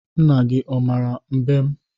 Nna gị ọ mara mbem?